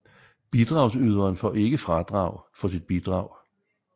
Bidragsyderen får ikke fradrag for sit bidrag